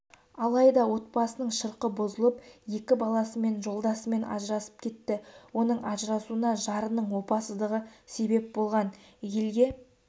алайда отбасының шырқы бұзылып екі баласымен жолдасымен ажырасып кетті оның ажырасуына жарының опасыздығы себеп болған елге